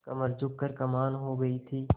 कमर झुक कर कमान हो गयी थी